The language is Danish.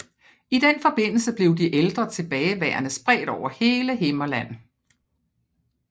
I den forbindelse blev de ældre tilbageværende spredt over hele Himmerland